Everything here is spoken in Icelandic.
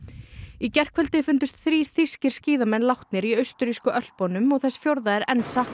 í gærkvöldi fundust þrír þýskir skíðamenn látnir í austurrísku Ölpunum og þess fjórða er enn saknað